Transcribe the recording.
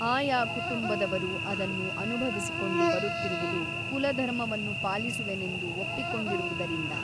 ಆಯಾ ಕುಟುಂಬದವರು ಅದನ್ನು ಅನುಭವಿಸಿಕೊಂಡು ಬರುತ್ತಿರುವುದು ಕುಲಧರ್ಮವನ್ನು ಪಾಲಿಸುವೆನೆಂದು ಒಪ್ಪಿಕೊಂಡಿರುವುದರಿಂದ.